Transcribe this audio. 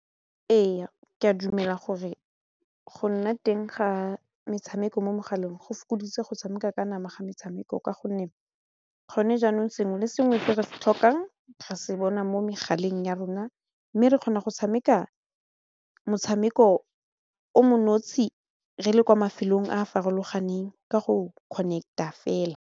Ee, ke a dumela gore go nna teng ga metshameko mo megaleng go fokoditse go tshameka ka nama ga metshameko ka gonne gone jaanong sengwe le sengwe se re se tlhokang re se bona mo megaleng ya rona mme re kgona go tshameka motshameko o mo nosi re le kwa mafelong a a farologaneng ka go connect-a fela.